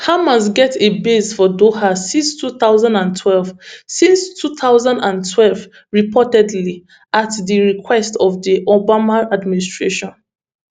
hamas get a base for doha since two thousand and twelve since two thousand and twelve reportedly at di request of di obama administration